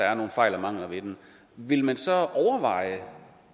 er nogle fejl og mangler ved den vil man så overveje